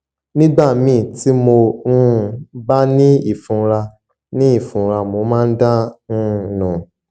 nígbà míì tí mo um bá ní ìfunra ní ìfunra mo máa ń dà um nù